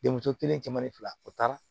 Denmuso kelen cɛman ni fila o taara